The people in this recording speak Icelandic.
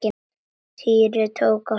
Týri tók á sprett.